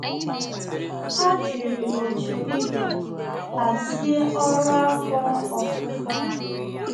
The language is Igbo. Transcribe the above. Há jìrì òtù ibe hàzị́e ọ́rụ́ afọ ofufo ha.